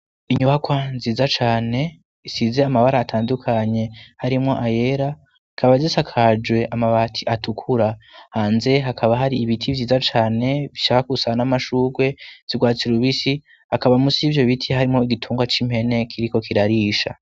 inyubakwa nziza cane isize amabara atandukanye harimwo ayera ikaba gisakajwe amabati atukura hanze hakaba hari ibiti vyiza cane bishaka gusa n'amashugwe zurwatsi rubisi akaba musi yivyo biti harimwo igitungwa c'impene kiriko kirarisha